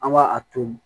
An b'a a to yen